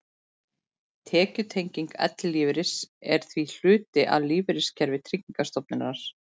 Tekjutenging ellilífeyris er því hluti af lífeyriskerfi Tryggingarstofnunar.